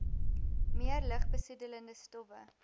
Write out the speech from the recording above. meer lugbesoedelende stowwe